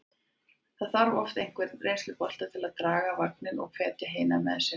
Það þarf oft einhvern reynslubolta til að draga vagninn og hvetja hina með sér.